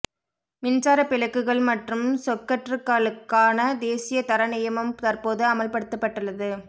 மின்சாரப் பிளக்குகள் மற்றும் சொக்கற்றுக்களுக்கான தேசிய தர நியமம் தற்போது அமுல்படுத்தப்பட்டுள்ளது